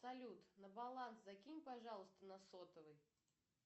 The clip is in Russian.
салют на баланс закинь пожалуйста на сотовый